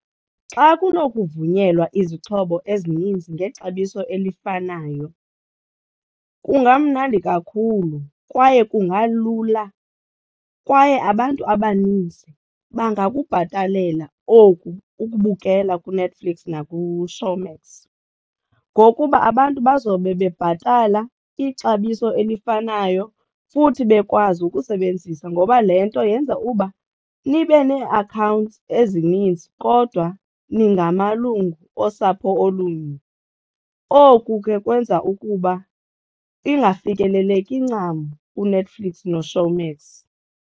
Xa kunokuvunyelwa izixhobo ezininzi ngexabiso elifanayo kungamnandi kakhulu kwaye kungalula kwaye abantu abaninzi bangakubhatalela oku ukubukela kuNetflix nakuShowmax ngokuba abantu bazobe bebhatala ixabiso elifanayo futhi bekwazi ukusebenzisa, ngoba le nto yenza uba nibe nee-accounts ezininzi kodwa ningamalungu osapho olunye. Oku ke kwenza ukuba ingafikeleleki ncam kuNetflix noShowmax.